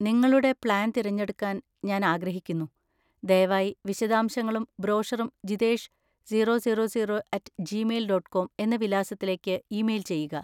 നിങ്ങളുടെ പ്ലാൻ തിരഞ്ഞെടുക്കാൻ ഞാൻ ആഗ്രഹിക്കുന്നു, ദയവായി വിശദാംശങ്ങളും ബ്രോഷറും Jithesh zero zero zero at Gmail dot com എന്ന വിലാസത്തിലേക്ക് ഇമെയിൽ ചെയ്യുക.